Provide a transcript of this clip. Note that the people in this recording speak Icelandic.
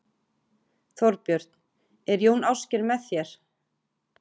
Þorbjörn: Er Jón Ásgeir með þér?